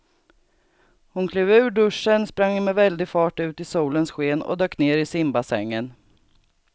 Hon klev ur duschen, sprang med väldig fart ut i solens sken och dök ner i simbassängen.